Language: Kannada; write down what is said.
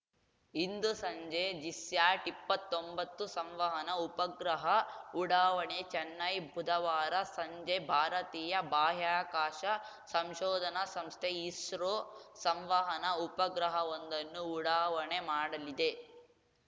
ಇಂದು ಸಂಜೆ ಜಿಸ್ಯಾಟ್‌ಇಪ್ಪತ್ತೊಂಬತ್ತು ಸಂವಹನ ಉಪಗ್ರಹ ಉಡಾವಣೆ ಚೆನ್ನೈ ಬುಧವಾರ ಸಂಜೆ ಭಾರತೀಯ ಬಾಹ್ಯಾಕಾಶ ಸಂಶೋಧನಾ ಸಂಸ್ಥೆ ಇಸ್ರೋ ಸಂವಹನ ಉಪಗ್ರಹವೊಂದನ್ನು ಉಡಾವಣೆ ಮಾಡಲಿದೆ